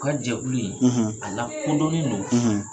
U ka jɛkulu in, , a lakodɔnnen don,